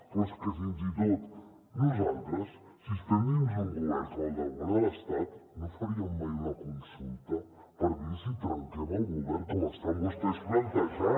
però és que fins i tot nosaltres si estem dins d’un govern com el govern de l’estat no faríem mai una consulta per dir si trenquem el govern com estan vostès plantejant